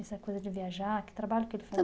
Essa coisa de viajar, que trabalho que ele fazia?